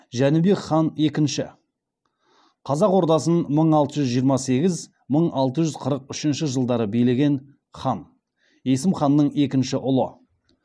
жәнібек хан екінші қазақ ордасын мың алты жүз жиырма сегіз мың алты жүз қырық үшінші жылдары билеген хан есім ханның екінші ұлы